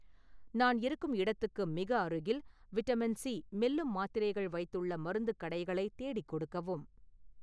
நான் இருக்கும் இடத்துக்கு மிக அருகில், விட்டமின்-சி மெல்லும் மாத்திரைகள் வைத்துள்ள மருந்துக் கடைகளை தேடிக் கொடுக்கவும்